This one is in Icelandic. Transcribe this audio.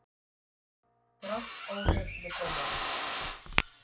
Grant óhress með dómarann